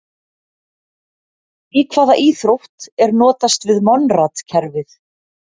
Í hvaða íþrótt er notast við Monrad-kerfið?